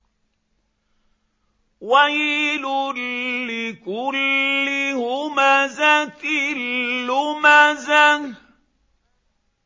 وَيْلٌ لِّكُلِّ هُمَزَةٍ لُّمَزَةٍ